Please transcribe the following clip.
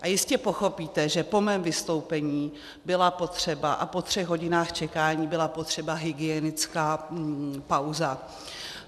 A jistě pochopíte, že po mém vystoupení byla potřeba, a po třech hodinách čekání, byla potřeba hygienická pauza.